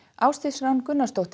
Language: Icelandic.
Ásdís Rán Gunnarsdóttir